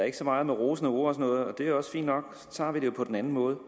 ikke så meget rosende ord og noget og det er også fint nok så tager vi det på den anden måde